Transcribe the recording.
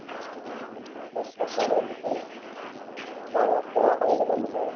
ডাঙৰক সেৱা কৰিব লাগিব